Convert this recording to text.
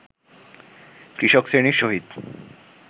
কৃষকশ্রেণীর সহিত